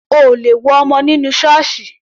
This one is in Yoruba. O ò lè wo ọmọ nínú Ṣọọṣi